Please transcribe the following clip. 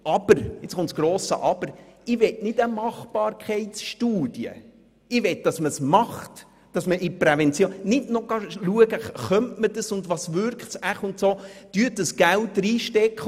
Aber ich möchte keine Machbarkeitsstudie, sondern ich möchte, dass man Prävention betreibt und nicht noch abklärt ob man es machen könnte und was es wohl bewirken könnte.